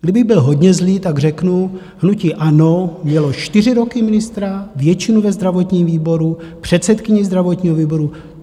Kdybych byl hodně zlý, tak řeknu hnutí ANO: mělo čtyři roky ministra, většinu ve zdravotním výboru, předsedkyni zdravotního výboru.